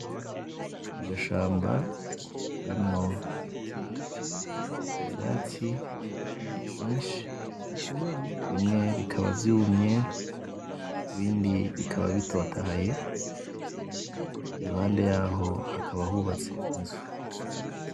Agashamba karimwo ivyatsi vyinshi bimwe bikaba vyumye ibindi bikaba bitotahaye iruhande yaho hakaba hubatse inzu